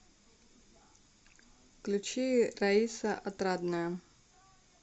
включи раиса отрадная